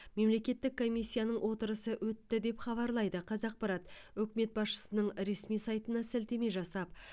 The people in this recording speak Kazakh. мемлекеттік комиссияның отырысы өтті деп хабарлайды қазақпарат үкімет басшысының ресми сайтына сілтеме жасап